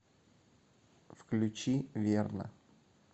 включи верно